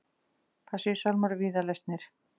Passíusálmar víða lesnir